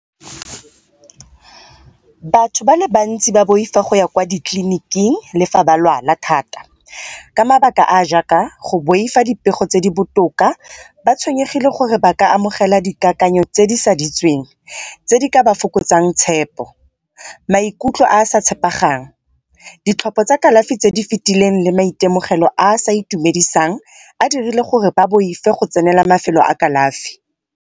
Batho ba le bantsi ba boifa go ya kwa ditleliniking le fa ba lwala thata ka mabaka a a jaaka go boifa dipego tse di botoka ba tshwenyegile gore ba ka amogela dikakanyo tse di tse di ka ba fokotsang tshepo, maikutlo a a sa , ditlhopha tsa kalafi tse di fetileng le maitemogelo a a sa itumedisang a dirile gore ba boife go tsenela mafelo a kalafi.